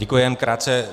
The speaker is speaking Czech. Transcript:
Děkuji, jen krátce.